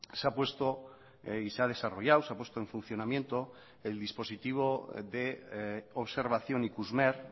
se ha puesto y se ha desarrollado se ha puesto en funcionamiento el dispositivo de observación ikusmer